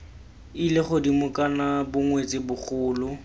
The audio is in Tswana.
ile godimo kana bongwetsi bogolo